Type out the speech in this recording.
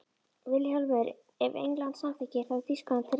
VILHJÁLMUR: Ef England samþykkir, þá er Þýskaland til reiðu.